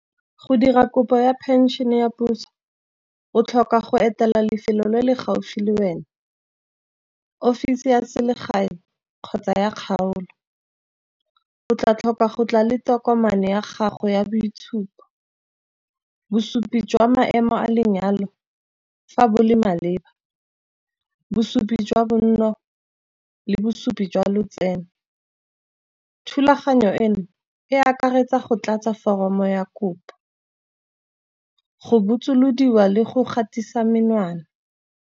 Go dira kopo ya phenšene ya puso o tlhoka go etela lefelo le le gaufi le wena, offisi ya selegae kgotsa ya kgaolo. O tla tlhoka go tla le tokomane ya gago ya boitshupo, bosupi jwa maemo a lenyalo fa bo le maleba, bosupi jwa bonno le bosupi jwa lotseno. Thulaganyo eno e akaretsa go tlatsa foromo ya kopa, go botsolodiwa le go gatisa menwana.